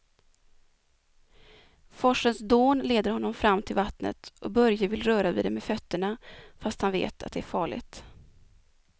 Forsens dån leder honom fram till vattnet och Börje vill röra vid det med fötterna, fast han vet att det är farligt.